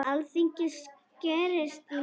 Alþingi skerst í leikinn